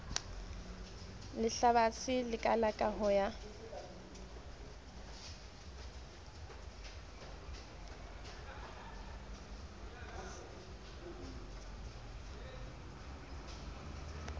lehlabathe le kalaka ho ya